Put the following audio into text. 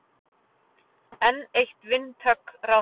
Enn eitt vindhögg ráðherrans